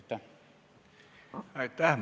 Aitäh!